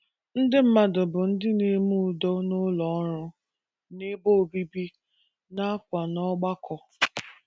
Ndị mmadụ bụ ndị na - eme udo n’ụlọ ọrụ, n’ebe obibi, nakwa n’ọgbakọ